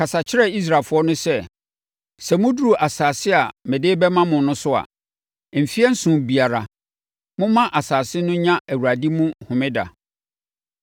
“Kasa kyerɛ Israelfoɔ no sɛ, ‘Sɛ moduru asase a mede rebɛma mo no so a, mfeɛ nson biara, momma asase no nya Awurade mu homeda.